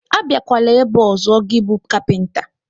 Abiakwala ebe a ọzọ gị bụ kapinta!